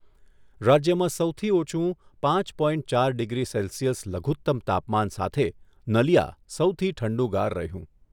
રાજ્યમાં સૌથી ઓછું પાંચ પોઇન્ટ ચાર ડિગ્રી સેલ્સિયસ લઘુત્તમ તાપમાન સાથે નલિયા સૌથી ઠંડુગાર રહ્યું.